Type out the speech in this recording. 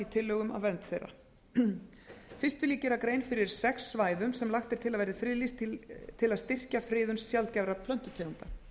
tillögunum að vernd þeirra fyrst vil ég gera grein fyrir sex svæðum sem lagt er til að verði friðlýst til að styrkja friðun sjaldgæfra plöntutegunda